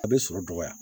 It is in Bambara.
A bɛ sɔrɔ dɔgɔya